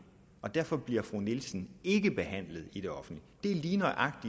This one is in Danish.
og derfor bliver fru nielsen ikke behandlet i det offentlige det er lige nøjagtig